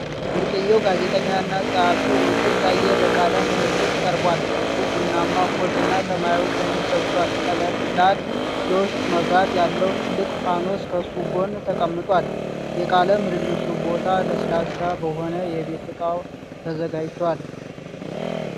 ብርቅዬው ጋዜጠኛና ጸሐፊ ውብሸት ታዬ ለቃለ ምልልስ ቀርቧል። እሱ ቡናማ ኮት እና ሰማያዊ ሸሚዝ ለብሷል። ቀላል የውስጥ መብራት ያለው ትልቅ ፋኖስ ከእሱ ጎን ተቀምጧል። የቃለ ምልልሱ ቦታ ለስላሳ በሆነ የቤት እቃ ተዘጋጅቷል።